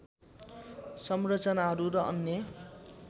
संरचनाहरू र अन्य